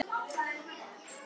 Þín Agla Marta.